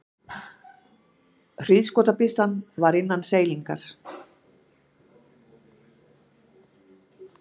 Hríðskotabyssan var innan seilingar.